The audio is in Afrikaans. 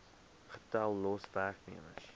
getal los werknemers